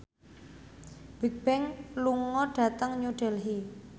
Bigbang lunga dhateng New Delhi